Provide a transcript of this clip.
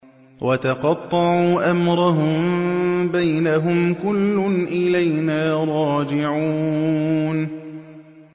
وَتَقَطَّعُوا أَمْرَهُم بَيْنَهُمْ ۖ كُلٌّ إِلَيْنَا رَاجِعُونَ